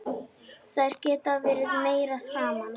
Þær geta verið meira saman.